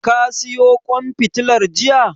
Ka siyo ƙwan fitilar jiya?